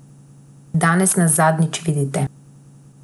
Danes nas zadnjič vidite.